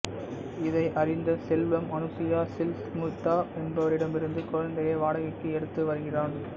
இதை அறிந்த செல்வம் அனுசுயா சில்க் சுமிதா என்பவரிடமிருந்து குழந்தையை வாடகைக்கு எடுத்து வருகிறான்